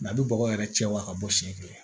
a bɛ bɔgɔ yɛrɛ cɛ wa ka bɔ siɲɛ kelen